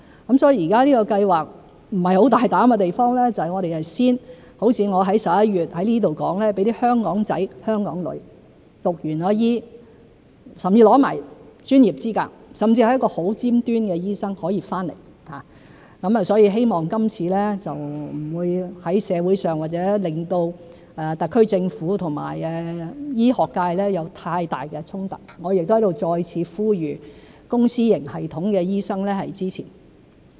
現在這個計劃不是很大膽的地方就是如我在11月在此說的，我們會先讓"香港仔"、"香港女"在修畢醫科，甚至獲得了專業資格，成為一個很尖端的醫生後可以回來，希望這次不會在社會上或令到特區政府和醫學界有太大衝突，我亦在此再次呼籲公私營系統的醫生支持。